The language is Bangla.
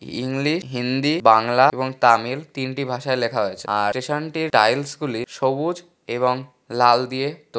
ইংলি হিন্দি বাংলা এবং তামিল তিনটি ভাষায় লেখা হয়েছে আর স্টেশন টির টাইলস গুলি সবুজ এবং লাল দিয়ে তৈ--